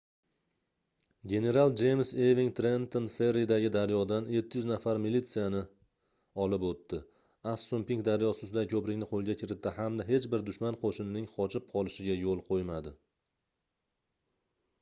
general jeyms eving trenton ferridagi daryodan 700 nafar militsiyani olib oʻtdi assunpink daryosi ustidagi koʻprikni qoʻlga kiritdi hamda hech bir dushman qoʻshinining qochib qolishiga yoʻl qoʻymadi